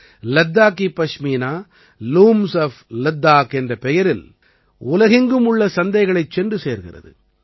Ladakhi Pashmina looms of Ladakh என்ற பெயரில் உலகெங்கும் உள்ள சந்தைகளைச் சென்று சேர்கிறது